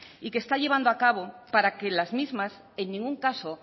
y que está llevando a cabo para que las mismas en ningún caso